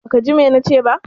Baka ji ma na ce ba?